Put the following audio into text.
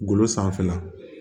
Golo sanfɛla